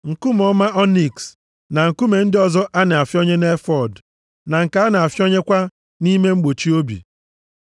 nkume ọma ọniks, na nkume ndị ọzọ a na-ahịọnye nʼefọọd, + 25:7 Efọọd bụ uwe dị nso nke onyeisi nchụaja na-eyi. \+xt Ọpụ 28:4,6-14\+xt* na nke a na-ahịọnyekwa nʼihe mgbochi obi.